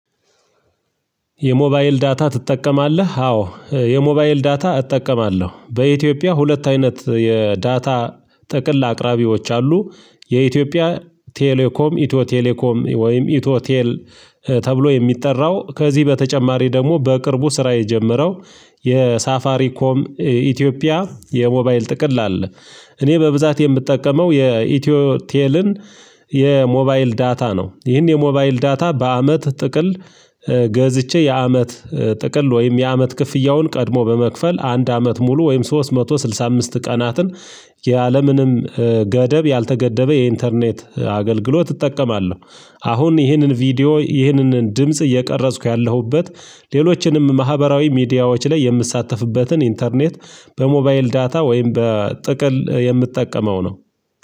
የሞባይል ዳታ ትጠቀማለህ? አዎ የሞባይል ዳታ እጠቀማለሁ በኢትዮጵያ ሁለት አይነት የዳታ ጥቅል አቅራቢዎች አሉ። የኢትዮጵያ ቴሌኮም ኢትዮ ቴሌኮም ወይም ኢቶ ቴል ተብሎ የሚጠራው ከዚህ በተጨማሪ ደግሞ በቅርቡ ስራ የጀመረው የሳፋሪ ኮም ኢትዮጵያ የሞባይል ጥቅል አለ። እኔ በብዛት የምጠቀመው የኢትዮ ቴልን የሞባይል ዳታ ነው። ይህን የሞባይል ዳታ በአመት ጥቅል ገዝቼ የአመት ጥቅል ወይም የአመት ክፍያውን ቀድሞ በመክፈል አንድ አመት ሙሉ ወይም ሶስት መቶ ስልሳ አምስት ቀናትን ያለምንም ገደብ ያልተገደበ የኢንተርኔት አገልግሎት እጠቀማለሁ። አሁን ይህንን ቪዲዮ ይህንን ድምጽ እየቀረጽኩ ያለሁበት ሌሎችንም ማህበራዊ ሚዲያዎች ላይ የምትሳተፍበትን ኢንተርኔት በሞባይል ዳታ ወይም በጥቅል የምትጠቀመው ነው።